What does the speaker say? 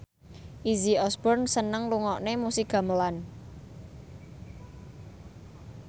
Izzy Osborne seneng ngrungokne musik gamelan